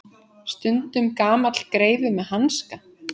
Stundum gamall greifi með hanska.